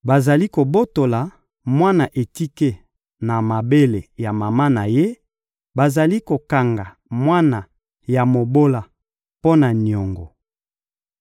Bazali kobotola mwana etike na mabele ya mama na ye, bazali kokanga mwana ya mobola mpo na niongo.